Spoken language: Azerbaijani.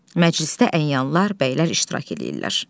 Məclisdə əyanlar, bəylər iştirak eləyirlər.